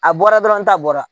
A bɔra dɔrɔn n ta bɔra